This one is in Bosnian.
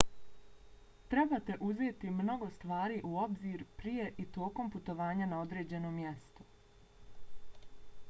trebate uzeti mnogo stvari u obzir prije i tokom putovanja na određeno mjesto